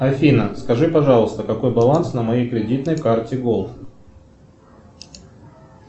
афина скажи пожалуйста какой баланс на моей кредитной карте голд